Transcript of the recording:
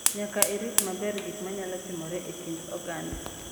Nyaka orit maber gik ma nyalo timore e kind oganda.